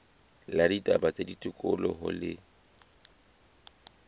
la ditaba tsa tikoloho le